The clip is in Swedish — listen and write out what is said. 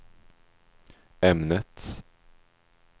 ämnet